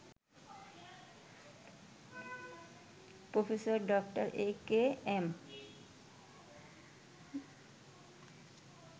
Professor ড. AKM